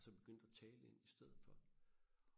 og så begyndte og tale ind i stedet for